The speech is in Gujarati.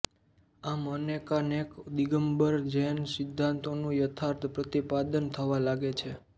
આમ અનેકાનેક દિગંબર જૈન સિદ્ધાંતોનું યથાર્થ પ્રતિપાદન થવા લાગે છે